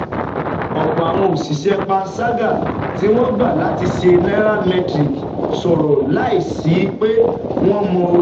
Ọ̀pọ̀ àwọn òṣìṣẹ́ panṣágà tí wọ́n gbà láti bá Nairametrics sọ̀rọ̀ láìsí pé wọ́n mọ orúkọ